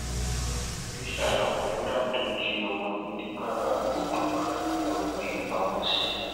iléṣà làwọn fúlàní tó jí ọmọ gbé nìgbáraodò lóò gbé e pamọ sí